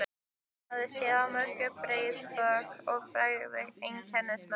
Hann hafði séð á mörg breið bök með frægu einkennismerki.